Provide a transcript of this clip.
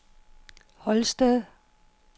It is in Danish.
Holsted